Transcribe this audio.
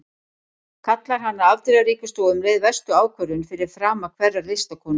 Kallar hana afdrifaríkustu og um leið verstu ákvörðun fyrir frama hverrar listakonu.